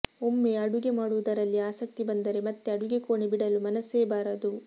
ಒಮ್ಮೆ ಅಡುಗೆ ಮಾಡುವುದರಲ್ಲಿ ಆಸಕ್ತಿ ಬಂದರೆ ಮತ್ತೆ ಅಡುಗೆಕೋಣೆ ಬಿಡಲು ಮನಸ್ಸೇ ಬಾರದು